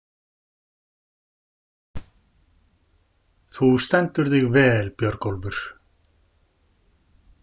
Þú stendur þig vel, Björgólfur!